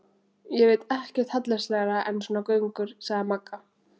Ég veit ekkert hallærislegra en svona göngur, sagði Magga.